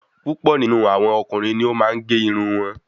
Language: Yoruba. púpọ̀ nínú àwọn ọkùnrin ni o maa n gé irun wọn